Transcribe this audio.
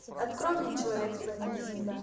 открой мне человек с планеты земля